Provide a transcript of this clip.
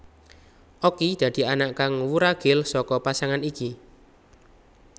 Okky dadi anak kang wuragil saka pasangan iki